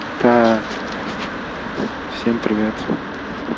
так всем привет